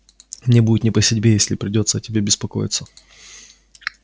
мне будет не по себе если придётся о тебе беспокоиться